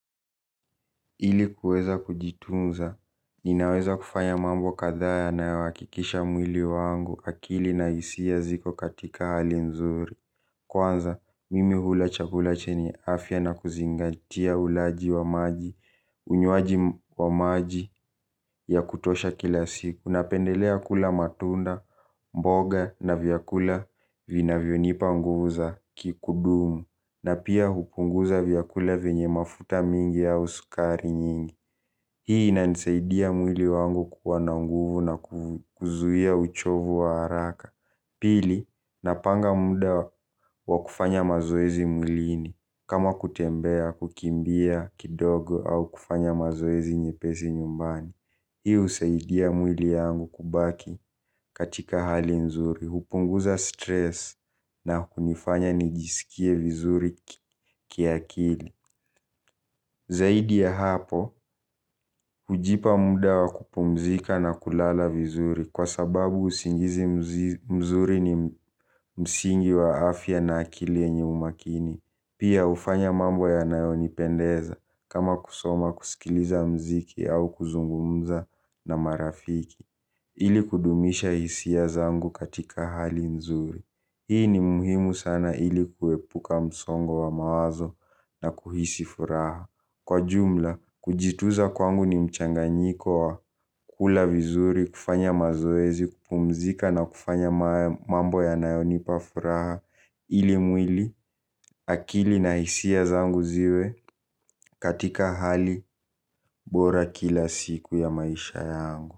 Ili kuweza kujitunza, ninaweza kufanya mambo kathaa yanayohakikisha mwili wangu akili na hisia ziko katika hali nzuri. Kwanza, mimi hula chakula chenye afya na kuzingatia ulaji wa maji, unywaji wa maji ya kutosha kila siku. Napendelea kula matunda, mboga na vyakula vinavyonipa nguvu za kikudumu na pia hupunguza vyakula venye mafuta mingi au sukari nyingi. Hii inanisaidia mwili wangu kuwa na nguvu na kuzuia uchovu wa haraka pili napanga muda wa kufanya mazoezi mwiliini. Kama kutembea, kukimbia kidogo au kufanya mazoezi nyepesi nyumbani. Hii husaidia mwili yangu kubaki katika hali nzuri hupunguza Stress na kunifanya nijisikie vizuri kiakili zaidi ya hapo hujipa muda wa kupumzika na kulala vizuri kwa sababu usingizi mzuri ni msingi wa afya na akili yenye umakini. Pia hufanya mambo yanayonipendeza kama kusoma kusikiliza muziki au kuzungumza na marafiki. Ili kudumisha hisia zangu katika hali nzuri. Hii ni muhimu sana ili kuepuka msongo wa mawazo na kuhisi furaha. Kwa jumla, kujituza kwangu ni mchanganyiko wa kula vizuri, kufanya mazoezi, kupumzika na kufanya mambo yanayonipa furaha, ili mwili, akili na hisia zangu ziwe katika hali bora kila siku ya maisha yangu.